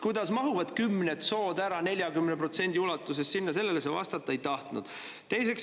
Kuidas need kümned sood selle 40% ulatuses sinna ära mahuvad?